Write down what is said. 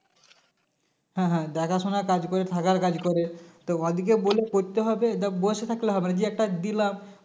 হ্যাঁ হ্যাঁ দেখাশোনার কাজ করে থাকার কাজ করে তো ওদেরকে বলে করতে হবে যে বসে থাকলে হবে না যে একটা দিলাম